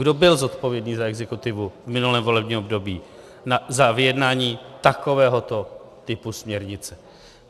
Kdo byl zodpovědný za exekutivu v minulém volebním období za vyjednání takovéhoto typu směrnice?